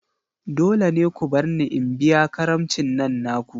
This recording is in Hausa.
Dole ne ku barni in biya karamicin nan naku!